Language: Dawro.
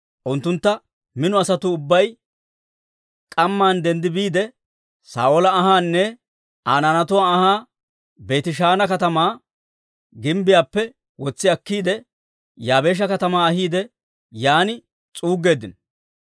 unttunttu mino asatuu ubbay k'amman denddi biide, Saa'oola anhaanne Aa naanatuwaa anhaa Beetishaana katamaa gimbbiyaappe wotsi akkiide, Yaabeesha katamaa ahiide yaan s'uuggeeddino.